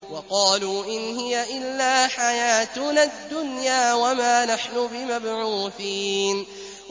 وَقَالُوا إِنْ هِيَ إِلَّا حَيَاتُنَا الدُّنْيَا وَمَا نَحْنُ بِمَبْعُوثِينَ